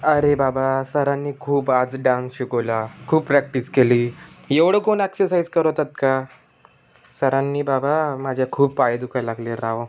अरे बाबा सरांनी आज खूप डांस शिकवला खूप प्रॅक्टिस केली एवढ कोण एक्झरसाईझ करवतात का सरांनी बाबा माझा खूप पाय दुखायला लागले राव.